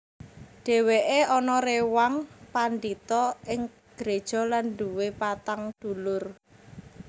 Dhèwèké anak réwang pandhita ing gréja lan nduwé patang dulur